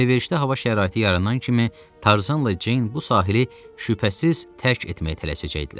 Əlverişli hava şəraiti yaranan kimi Tarzanla Ceyn bu sahili şübhəsiz tərk etməyə tələsəcəkdilər.